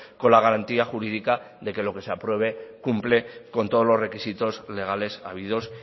con la garantía jurídica de que lo que se apruebe cumple con todos los requisitos legales habidos